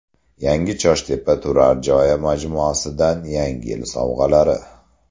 Yangi Choshtepa turar joy majmuasidan yangi yil sovg‘alari.